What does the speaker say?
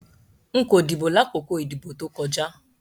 Nko dibo lakoko idibo to koja